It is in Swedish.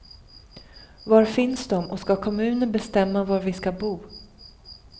Var finns de och ska kommunen bestämma var vi ska bo?